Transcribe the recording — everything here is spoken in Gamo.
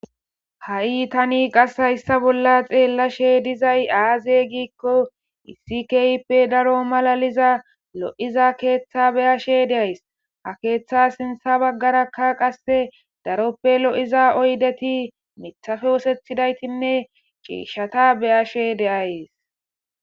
Ha'i tani qassha issa bolla xeellashe dizay aaze giikko isikaype daro malaliza lo'iza keeththa beyashe deays ha keeththa sintha baggarakka qasse daroppe lo'iza oydeti mithafe wosethidaytinne ciishshata beyashe deays.